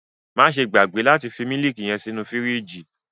Maṣe gbagbe lati fi miliki yẹn sínú firiji!